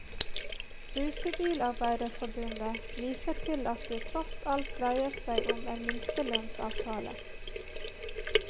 Rutebilarbeiderforbundet viser til at det tross alt dreier seg om en minstelønnsavtale.